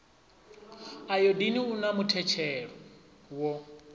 ayodini u na muthetshelo wo